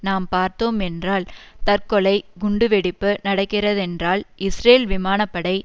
நாம் பார்த்தோம் என்றால் தற்கொலை குண்டு வெடிப்பு நடக்கிறதென்றால் இஸ்ரேல் விமான படை